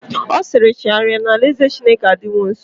Ọ siiri, chegharịa na alaeze Chineke adịwo nsọ!